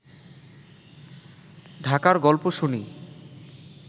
ঢাকার গল্প শুনি